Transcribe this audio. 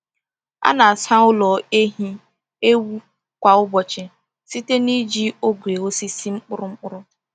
A na-asa ụlọ ehi ewu kwa ụbọchị site na iji ogwe osisi mkpụrụ mkpụrụ.